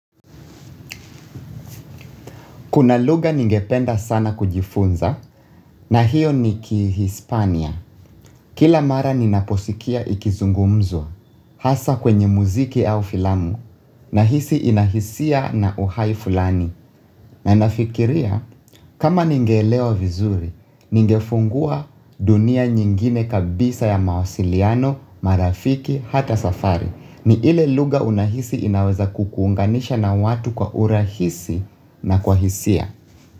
Kuna lugha ningependa sana kujifunza na hiyo ni kihispania. Kila mara ninaposikia ikizungumzwa hasa kwenye muziki au filamu na hisi inahisia na uhai fulani. Na nafikiria kama ningeelewa vizuri, ningefungua dunia nyingine kabisa ya mawasiliano, marafiki, hata safari ni ile lugha unahisi inaweza kukuunganisha na watu kwa urahisi na kwa hisia.